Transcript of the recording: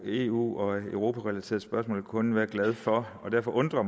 eu og europarelaterede spørgsmål kun kunne være glade for derfor undrer